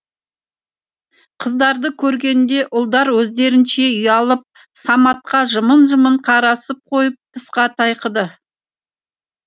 қыздарды көргенде ұлдар өздерінше ұялып саматқа жымың жымың қарасып қойып тысқа тайқыды